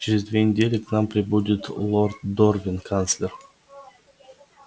через две недели к нам прибудет лорд дорвин канцлер